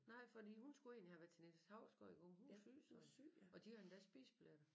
Nej fordi hun skulle egentlig have været til Niels Hausgaard i går men hun var syg så og de havde endda spisebilletter